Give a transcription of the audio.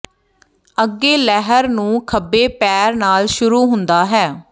ਅੱਗੇ ਲਹਿਰ ਨੂੰ ਖੱਬੇ ਪੈਰ ਨਾਲ ਸ਼ੁਰੂ ਹੁੰਦਾ ਹੈ